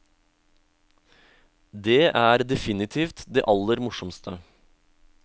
Det er definitivt det aller morsomste.